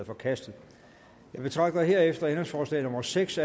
forkastet jeg betragter herefter ændringsforslag nummer seks